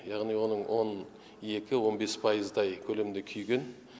яғни оның он екі он бес пайыздай көлемінде күйген